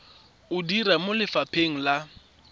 o dira mo lefapheng la